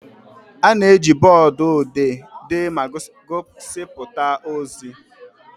A na-eji bọọdụ odee dee ma gosipụta ozi.